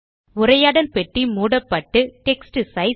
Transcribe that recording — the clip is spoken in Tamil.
உரையாடல் பெட்டி மூடப்பட்டு டெக்ஸ்ட் சைஸ்